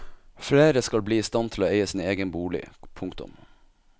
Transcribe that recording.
Flere skal bli i stand til å eie sin egen bolig. punktum